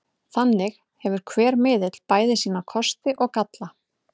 Þannig hefur hver miðill bæði sína kosti og galla.